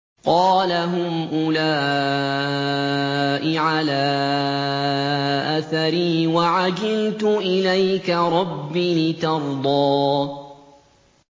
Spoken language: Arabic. قَالَ هُمْ أُولَاءِ عَلَىٰ أَثَرِي وَعَجِلْتُ إِلَيْكَ رَبِّ لِتَرْضَىٰ